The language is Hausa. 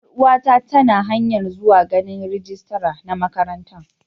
Yar uwa ta ta na hanya'n zuwa ganin rijistira na makarantan.